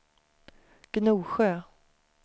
Gnosjö